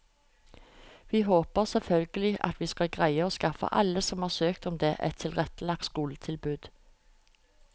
Vi håper selvfølgelig at vi skal greie å skaffe alle som har søkt om det, et tilrettelagt skoletilbud.